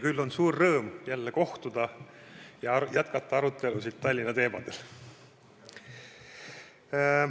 Küll on suur rõõm jälle kohtuda ja jätkata arutelusid Tallinna teemadel.